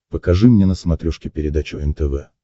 покажи мне на смотрешке передачу нтв